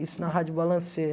Isso na Rádio Balancê.